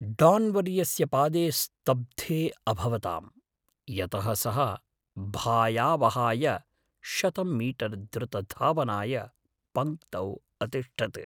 डान्वर्यस्य पादे स्तब्धे अभवताम्, यतः सः भायावहाय शतं मीटर् द्रुतधावनाय पङ्क्तौ अतिष्ठत्।